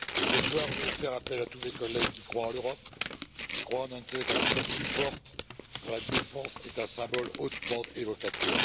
Ce soir, je vais faire appel à tous mes collègues qui croient en l'Europe, qui croient en une intégration plus forte, dont la défense est un symbole hautement évocateur.